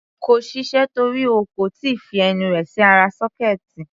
Kò ṣiṣẹ́ torí o kò tí ì fi ẹnu rẹ̀ sí ara sọ́kẹ́ẹ̀tì.